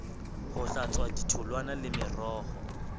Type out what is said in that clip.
ho hlatswa ditholwana le meroho